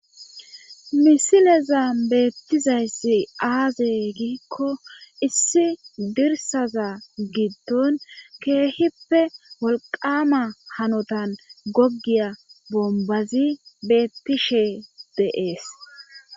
misileza beettizayssi aaze giikko issi dirsaza giddon keehippe wolqama hanotan goggiya bombazi beettishe de'ees